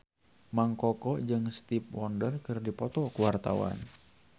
Mang Koko jeung Stevie Wonder keur dipoto ku wartawan